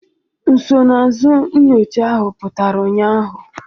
Nsonaazụ nyocha ahụ pụtara ụnyaahụ